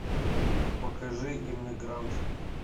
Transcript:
покажи эмигрант